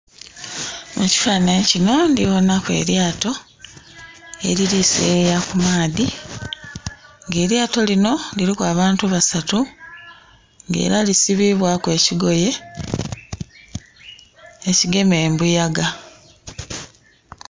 Mukifananhi kino ndhibona ku elyato elili seyeya kumaadhi nga elyato linho liliku abantu basatu nga era lisibibwaku ekikogeye ekigema embuyaga.